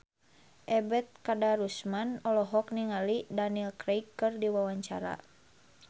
Ebet Kadarusman olohok ningali Daniel Craig keur diwawancara